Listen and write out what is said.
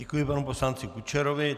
Děkuji panu poslanci Kučerovi.